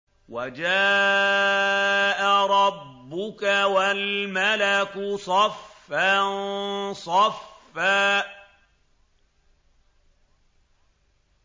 وَجَاءَ رَبُّكَ وَالْمَلَكُ صَفًّا صَفًّا